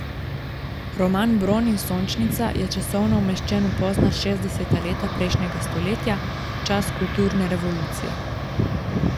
Roman Bron in Sončnica je časovno umeščen v pozna šestdeseta leta prejšnjega stoletja, čas kulturne revolucije.